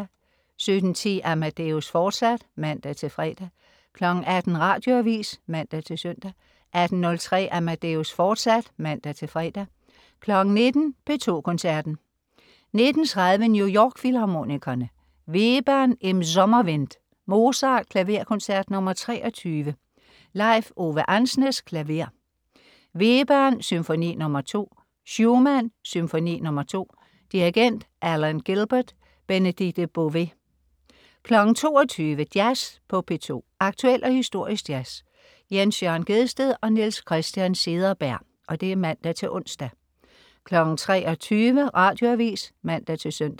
17.10 Amadeus, fortsat (man-fre) 18.00 Radioavis (man-søn) 18.03 Amadeus, fortsat (man-fre) 19.00 P2 Koncerten. 19.30 New York Filharmonikerne. Webern: Im Sommerwind. Mozart: Klaverkoncert nr. 23. Leif Ove Andsnes, klaver. Webern: Symfoni nr. 2. Schumann: Symfoni nr. 2. Dirigent: Alan Gilbert. Benedikte Bové 22.00 Jazz på P2. Aktuel og historisk jazz. Jens Jørn Gjedsted/Niels Christian Cederberg (man-ons) 23.00 Radioavis (man-søn)